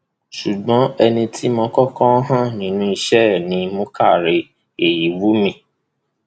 ṣùgbọn ẹni tí mo kọkọ hàn nínú iṣẹ ẹ ni muka ray eyiwumi